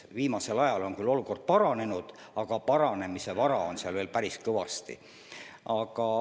Viimasel ajal on küll olukord paranenud, aga paranemise ruumi on seal veel päris kõvasti.